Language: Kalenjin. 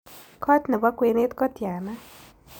Kot ne po kwenet ko tiana